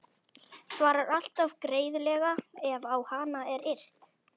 Svarar alltaf greiðlega ef á hana er yrt.